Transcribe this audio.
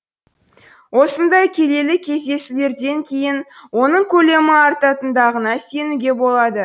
осындай келелі кездесулерден кейін оның көлемі артатындығына сенуге болады